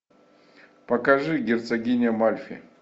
покажи герцогиня мальфи